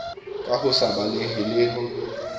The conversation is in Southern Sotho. ka ho se balehe le